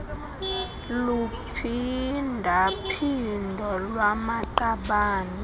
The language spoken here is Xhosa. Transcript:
luphinda phindo lwamaqabane